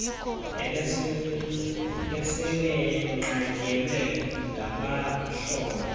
ubesele enqatyelwe ngabahlobo